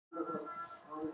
Sveik út barnavagna